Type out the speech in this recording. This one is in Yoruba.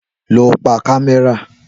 Lọ pa kámẹ́rà